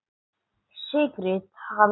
Sigrid hlær.